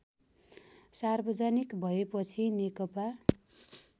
सार्वजनिक भएपछि नेकपा